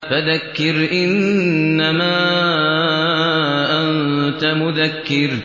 فَذَكِّرْ إِنَّمَا أَنتَ مُذَكِّرٌ